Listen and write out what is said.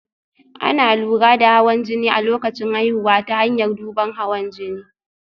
Ana lura da hawan jini a lokacin haihuwa ta hanyar duban hawan jini